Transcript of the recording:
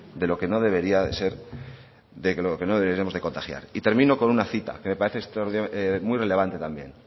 de lo que no deberíamos de contagiar y termino con una cita que me parece muy relevante también